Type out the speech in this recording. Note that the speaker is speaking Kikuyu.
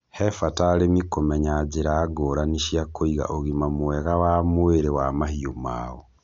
He bata arĩmi kũmenya njĩra ngũrani cia kũiga ũgima mwega wa mwĩrĩ wa mahiũ mao.